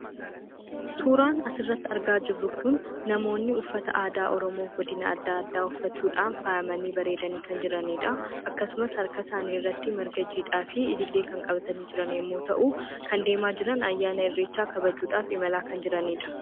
Suuraan asirratti argaa jirru kun namoonni uffata aadaa Oromoo godina adda addaa uffachuudhaan faayamanii bareedanii kan jiraniidha. Akkasumas harka isaanii irratti marga jiidhaa fi ilillii kan qabatanii jiran yemmuu ta'u, kan deemaa jiran ayyaana irreechaa kabajuudhaaf imalaa kan jiraniidha.